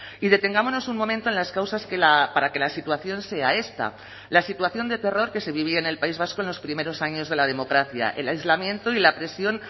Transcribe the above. y detengámonos un momento en las causas para que la situación sea esta la situación de terror que se vivía en el país vasco en los primeros años de la democracia el aislamiento y la presión